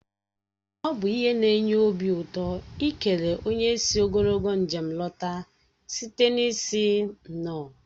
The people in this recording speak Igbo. Ọ bụ ihe na-enye obi ụtọ ikele onye sị ogologo njem lọta site n'ịsị "nnọọ"